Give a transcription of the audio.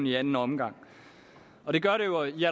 i anden omgang og det gør det jo i